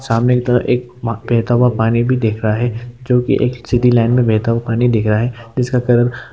सामने की तरफ एक माह बेहता हुआ पानी भी दिख रहा है जो कि एक सीधी लाइन में बेहता हुआ पानी दिख रहा है जिसका कलर --